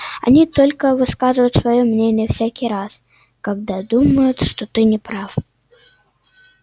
они только высказывают своё мнение всякий раз когда думают что ты не прав